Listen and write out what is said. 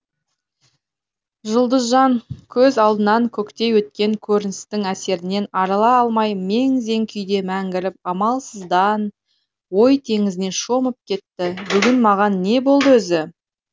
жұлдызжан көз алдынан көктей өткен көріністің әсерінен арыла алмай мең зең күйде мәңгіріп амалсыздан ой теңізіне шомып кетті бүгін маған не болды өзі